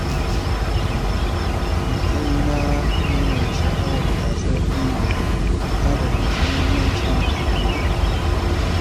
A matsayina na mai sha’awar gasar ƙungiya, na fahimci muhimmancin yin aiki tare.